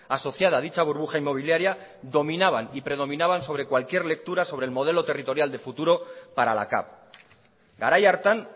asociada a dicha burbuja inmobiliaria dominaban y predominaban sobre cualquier lectura sobre el modelo territorial de futuro para la cav garai hartan